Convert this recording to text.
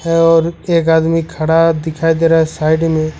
और एक आदमी खड़ा दिखाई दे रहा है साइड में--